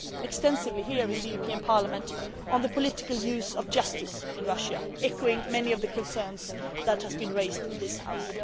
extensively here in Parliament on the political use of justice in Russia, echoing many of the concerns that have been raised in this